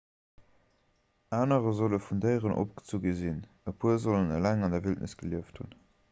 anerer solle vun déieren opgezu gi sinn e puer sollen eleng an der wildnis gelieft hunn